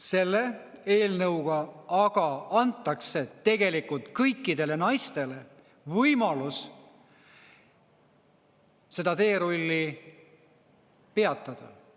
Selle eelnõuga aga antakse tegelikult kõikidele naistele võimalus seda teerulli peatada.